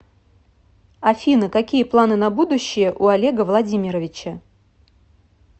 афина какие планы на будущее у олега владимировича